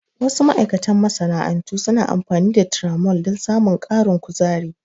Wasu ma'aikatan masana'antu suna amfani da tiramol don samun ƙarin kuzari.